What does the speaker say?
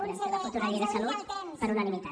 puguem fer la futura llei de salut per unanimitat